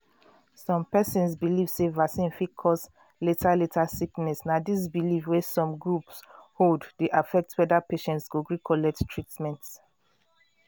some persons believe sey vaccine fit cause later later sickness na this belief wey some groups hold dey affect whether patients go gree collect treatment.